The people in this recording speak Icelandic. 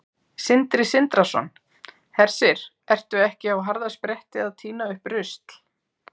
Sindri Sindrason: Hersir, ertu ekki á harðaspretti að tína upp rusl?